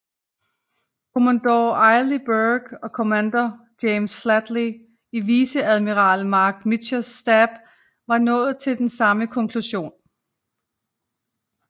Commodore Arleigh Burke og kommandør James Flatley i viceadmiral Marc Mitschers stab var nået til den samme konklusion